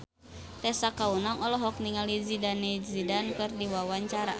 Tessa Kaunang olohok ningali Zidane Zidane keur diwawancara